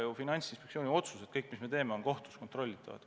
Kõik Finantsinspektsiooni otsused, mis me teeme, on kohtus kontrollitavad.